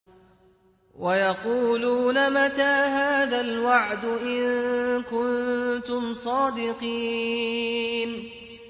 وَيَقُولُونَ مَتَىٰ هَٰذَا الْوَعْدُ إِن كُنتُمْ صَادِقِينَ